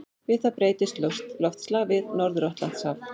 Við það breytist loftslag við Norður-Atlantshaf.